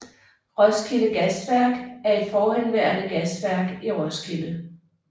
Roskilde Gasværk er et forhenværende gasværk i Roskilde